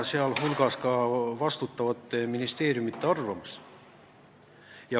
See on vastutavate ministeeriumite arvamus.